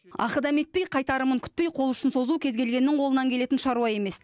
ақы дәметпей қайтарымын күтпей қол ұшын созу кез келгеннің қолынан келетін шаруа емес